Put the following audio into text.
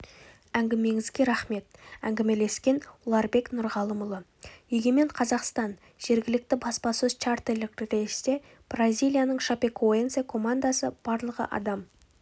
әңгімеңізге рахмет әңгімелескен ұларбек нұрғалымұлы егемен қазақстан жергілікті баспасөз чартерлік рейсте бразилияның шапекоэнсе командасы барлығы адам